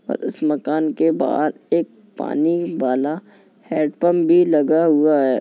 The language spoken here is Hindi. और उस मकान के बाहर एक पानी वाला हैंड पंप भी लगा हुआ है।